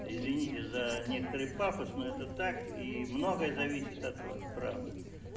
извините за некоторый пафос но это так и многое зависит от вас правда